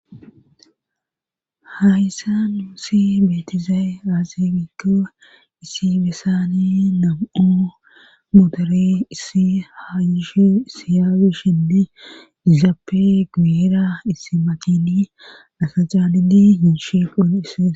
ha hyssa uusi beetizaaye aaze gikko issi bessani nam7o modore issihaayishi issi haawishhindi izaappe guyira isimaqini asacaanidi hinshi quun hisse.